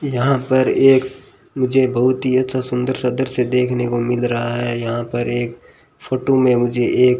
यहां पर एक मुझे बहुत ही अच्छा सुंदर सा दृश्य देखने को मिल रहा है यहां पर एक फोटो में मुझे एक --